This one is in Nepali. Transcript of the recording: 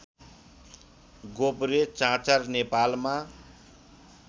गोब्रे चाँचर नेपालमा